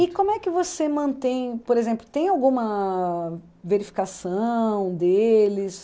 E como é que você mantém, por exemplo, tem alguma verificação deles?